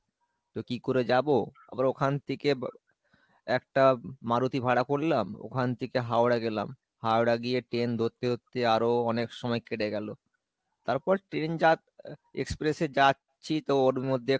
তো কী করে যাব, আবার ওখান থেকে বা একটা মারুতি ভাড়া করলাম, ওখান থেকে হাওড়া গেলাম, হাওড়া গিয়ে train ধরতে ধরতে আরো অনেক সময় কেটে গেল। তারপর train জাত~ express এ যাচ্ছি তো ওর মধ্যে খাওয়া দাওয়া ভালোই ওখানে এখন দেখলাম যে express এ